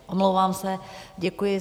Omlouvám se, děkuji.